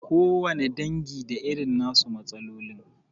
Kowane dangi da irin na su matsalolin.